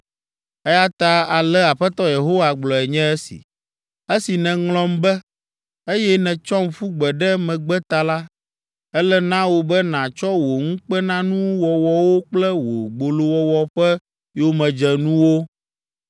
“Eya ta ale Aƒetɔ Yehowa gblɔe nye esi: Esi nèŋlɔm be, eye nètsɔm ƒu gbe ɖe megbe ta la, ele na wò be nàtsɔ wò ŋukpenanuwɔwɔwo kple wò gbolowɔwɔ ƒe yomedzenuwo.”